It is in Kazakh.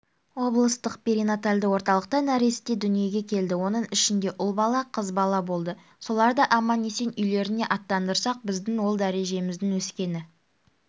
облыстық перинатальды орталықта нәресте дүниеге келді оның ішінде ұл бала қыз бала болды соларды аман-есен үйлеріне аттандырсақ біздің ол дәрежеміздің өскені